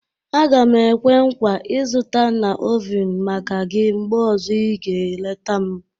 Aga m ekwe nkwa, ịzụta na oven maka gị mgbe ọzọ ị ga-eleta m.